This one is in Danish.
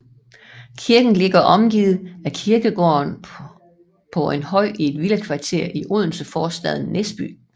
Kirken ligger omgivet af kirkegården på en høj i et villakvarter i Odenseforstaden Næsby